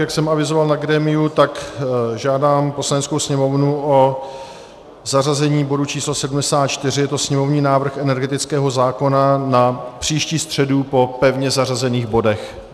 Jak jsem avizoval na grémiu, tak žádám Poslaneckou sněmovnu o zařazení bodu číslo 74, je to sněmovní návrh energetického zákona, na příští středu po pevně zařazených bodech.